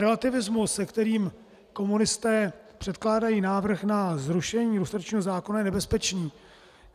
Relativismus, se kterým komunisté předkládají návrh na zrušení lustračního zákona, je nebezpečný.